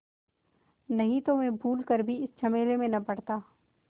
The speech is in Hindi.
नहीं तो मैं भूल कर भी इस झमेले में न पड़ता